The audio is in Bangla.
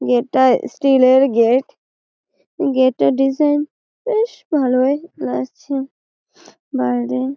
এটা স্টিল -এর গেট গেট -এর ডিসাইন বেশ ভালোই লাগছে বাইরে।